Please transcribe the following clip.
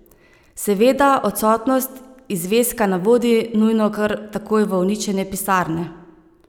Seveda, odsotnost izveska ne vodi nujno kar takoj v uničenje pisarne.